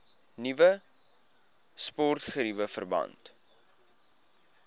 nuwe sportgeriewe verband